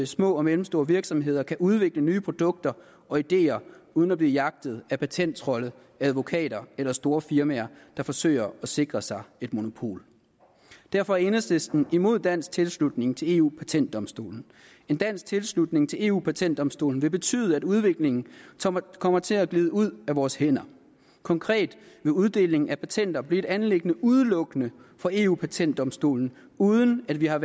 små og mellemstore virksomheder kan udvikle nye produkter og ideer uden at blive jagtet af patenttrolde advokater eller store firmaer der forsøger at sikre sig et monopol derfor er enhedslisten imod dansk tilslutning til eu patentdomstolen en dansk tilslutning til eu patentdomstolen vil betyde at udviklingen kommer til at glide ud af vores hænder konkret vil uddeling af patenter blive et anliggende udelukkende for eu patentdomstolen uden at vi har